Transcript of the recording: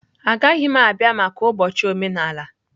Agaghị m abịa maka ụbọchị omenala.